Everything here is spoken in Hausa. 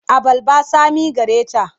Abarbar tsami care ta.